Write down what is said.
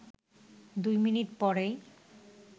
দুই মিনিট পরই